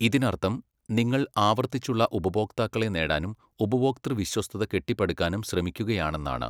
ഇതിനർത്ഥം നിങ്ങൾ ആവർത്തിച്ചുള്ള ഉപഭോക്താക്കളെ നേടാനും ഉപഭോക്തൃ വിശ്വസ്തത കെട്ടിപ്പടുക്കാനും ശ്രമിക്കുകയാണെന്നാണ്.